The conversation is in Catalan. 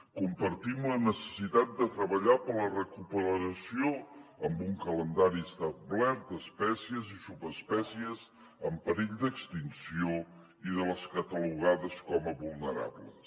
compartim la necessitat de treballar per la recuperació amb un calendari establert d’espècies i subespècies en perill d’extinció i de les catalogades com a vulnerables